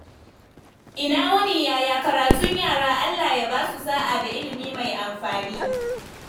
Ina wuni, yaya karatun yara? Allah ya basu sa’a da ilimi mai amfani.